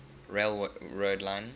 rail road line